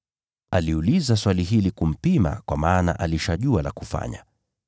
Aliuliza swali hili kumpima, kwa maana alishajua la kufanya.